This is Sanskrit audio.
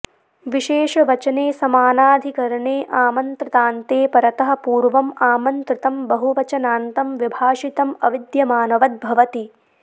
विशेषवचने समानाधिकरने आमन्त्रितान्ते परतः पूर्वम् आमन्त्रितं बहुवचनान्तं विभाषितम् अविद्यमानवद् भवति